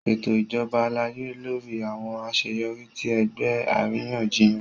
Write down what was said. Ṣeto ijabọ alaye lori awọn aṣeyọri ti ẹgbẹ ariyanjiyan.